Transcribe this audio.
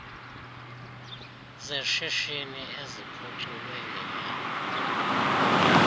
zeshishini eziphuculwe ngenyani